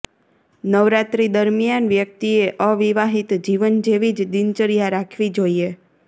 નવરાત્રિ દરમિયાન વ્યક્તિએ અવિવાહિત જીવન જેવી જ દિનચર્યા રાખવી જોઈએ